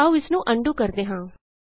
ਆਉ ਇਸ ਨੂੰ ਅਨਡੂ ਕਰਦੇ ਹਾਂ